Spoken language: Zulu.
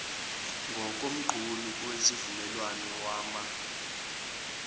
ngokomqulu wesivumelwano wama